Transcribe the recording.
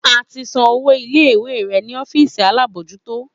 A ti san owó ilé ìwé rè ni ọ́fíìsì alábòójútó